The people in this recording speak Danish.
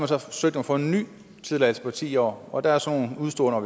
så forsøgt at få en ny tilladelse på ti år og der er så nogle udeståender